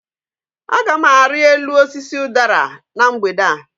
Agam ari elu osisi udara na mgbede a